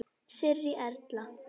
Sirrý Erla.